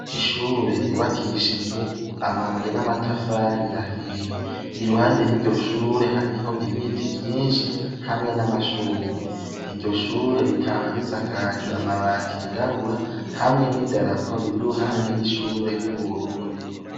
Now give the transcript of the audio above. Ishure ryubakishijwe amabuye n'amatafari ahiye i ruhande y'iryo shure hariho ibiti vyinshi hamwe n'amashurwe iryo shure rikaba risakaju amabati yirabura hamwe n'i daraporo iri ruhande y'ishure ry'uburundi.